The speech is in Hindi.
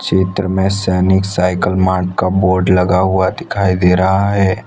चित्र में सैनिक साइकिल मार्ट का बोर्ड लगा हुआ दिखाई दे रहा है।